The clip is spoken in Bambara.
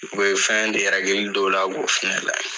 I bɛ fɛn de rɛgili da o la k'o fana lajɛ.